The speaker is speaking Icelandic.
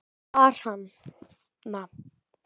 Bar hana